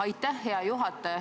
Aitäh, hea juhataja!